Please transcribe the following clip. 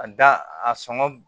A da a sɔngɔ